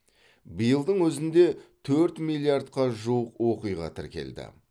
биылдың өзінде төрт миллиардқа жуық оқиға тіркелді